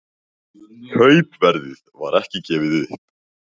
Kaupverðið var ekki gefið upp